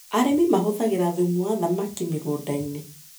Arĩmi mahũthagĩra thumu wa thamaki mĩgũndainĩ.